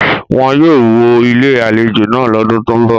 Wọn yóò wó Ilé-àlejò náà lọ́dún tó ń bọ̀.